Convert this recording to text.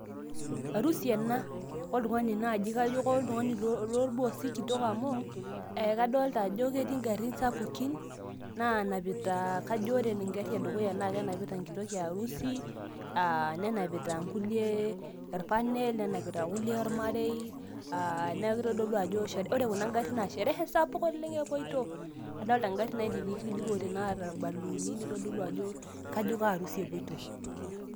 arusi ena oltung'ani naaji, kitok loorboosi amu, ekadoolta ajo ketii igarin sapukin, naanapita kajo, kajo ore egari edukuya naa kenapita enkitok e arusi, aa nenapita nkulie, orpanel, nenapita nkulie ormarei, aa neeku kitodolu ajo ore kuna garin, naa shereh sapuk oleng epoito. kadoolta ngarin naidikidikote naata irbaluuni neeku kajo kearusi epoito.